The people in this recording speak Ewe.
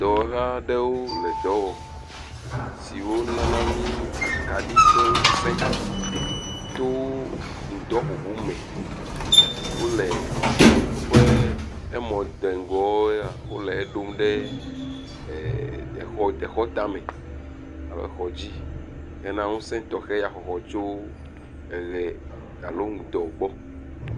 Dɔwɔla aɖewo le dɔ wɔm si wo nana mi akaɖi ƒe ŋusẽ, to ŋdɔ ŋuŋu me, wole woƒe amɔ de ŋgowo ya wole eɖom ɖe exɔ tame alo exɔ dzi hena ŋusẽ tɔxɛ ya xɔxɔ tso eʋe alo ŋdɔ gbɔ